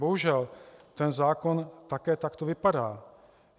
Bohužel ten zákon také takto vypadá.